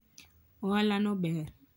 ohala no ber